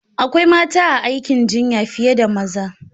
Akwai mata a aikin jinya fiye da maza.